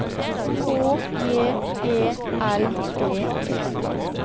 H J E L D E